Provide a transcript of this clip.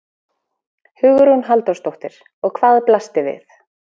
Hugrún Halldórsdóttir: Og hvað blasti við?